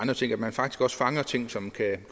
andre ting som kan